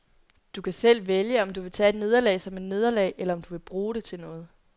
Du kan selv vælge, om du vil tage et nederlag som et nederlag, eller om du vil bruge det til noget.